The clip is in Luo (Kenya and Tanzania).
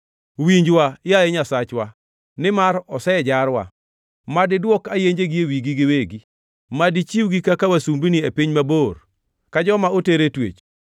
Winjwa, yaye Nyasachwa, nimar osejarwa. Mad idwok ayenjegi e wigi giwegi. Mad ichiwgi kaka wasumbini e piny mabor ka joma oter e twech.